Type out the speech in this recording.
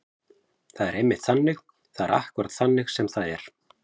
Það er einmitt þannig. það er akkúrat þannig sem það er.